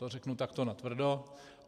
To řeknu takto natvrdo.